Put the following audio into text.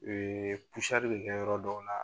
bɛ kɛ yɔrɔ dɔw la,